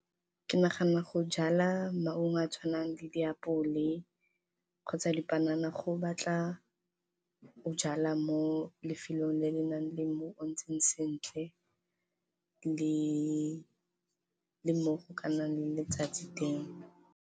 Ke nagana go jala maungo a tshwanang le di apole kgotsa di panana go batla o jala mo lefelong le le nang le mmu o ntseng sentle, le mo go ka nnang le letsatsi teng.